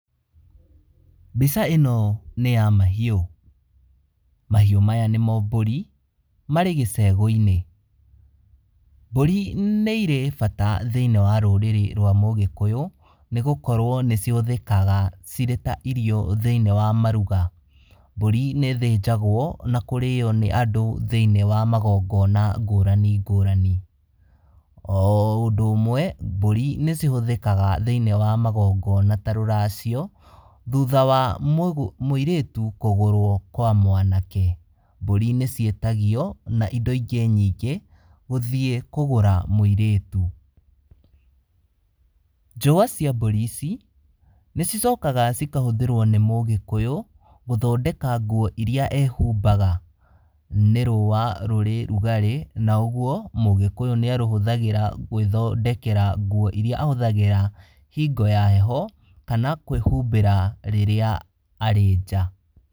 Mbica ĩno nĩ ya mahiũ, mahiũ maya nĩmo mbũri, marĩ gĩcegũ-inĩ. Mbũri nĩ irĩ bata thĩiniĩ wa rũrĩrĩ rwa Mũgĩkũyũ, nĩ gũkorwo nĩ cihũthĩkaga cirĩ ta irio thĩiniĩ wa maruga. Mbũri nĩ ĩthĩnjagwo na kũrĩo nĩ andũ thĩiniĩ wa magongona ngũrani ngũrani. O ũndũ ũmwe, mbũri nĩ cihũthĩkaga thĩiniĩ wa magongona ta rũracio, thutha wa mũirĩtu kũgũrwo kwaa mwanake. Mbũri nĩ ciĩtagio na indo ingĩ nyingĩ, gũthiĩ kũgũra mũirĩtu. Njũa cia mbũri ici, nĩ cicokaga cikahũthĩrwo nĩ mũgĩkũyũ gũthondeka nguo iria ehumbaga. Nĩ rũa rũrĩ rugarĩ na ũguo Mũgĩkũyũ nĩarũhũthagĩra gwĩthondekera nguo iria ahũthagĩra hingo ya heho, kana kwĩhumbĩra rĩrĩa arĩ nja.